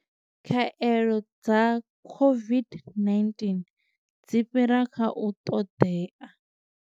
Khaelo dza COVID-19 dzi fhira kha u ṱoḓea.